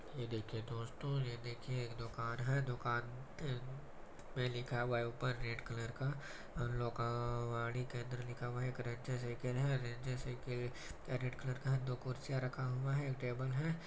ये देखिए दोस्तो ये देखिए एक दुकान है दुकान पे लिखा हुआ है ऊपर रेड कलर का लोकवाणी केंद्र लिखा हुआ है एक रेंजेस साइकिल है रेंजर साइकिल रेड कलर का दो कुर्सियां रखा हुआ है एक टेबल है।